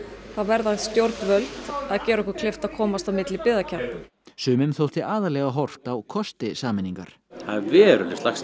þá verða stjórnvöld að gera okkur kleift að komast á milli byggðakjarna sumum þótti aðallega horft á kosti sameiningar það er veruleg slagsíða